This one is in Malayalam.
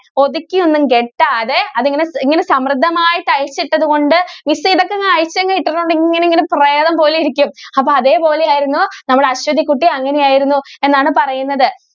ഒതുക്കി ഒന്നും കെട്ടാതെ അതിങ്ങനെ ഇങ്ങനെ സമൃദ്ധമായിട്ട് അഴിച്ചിട്ടത് കൊണ്ട് miss ഇതൊക്കെ അങ്ങ് അഴിച്ചങ്ങ് ഇട്ടിട്ടൊണ്ടെ ഇങ്ങനെ ഇങ്ങനെ പ്രേതം പോലെ ഇരിക്കും. അപ്പം അതേപോലെ ആയിരുന്നു നമ്മുടെ അശ്വതികുട്ടി. അങ്ങനെയായിരുന്നു എന്നാണ് പറയുന്നത്.